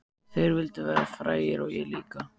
Þeir vildu verða frægir og ég líka.